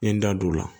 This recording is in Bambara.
N ye n da don o la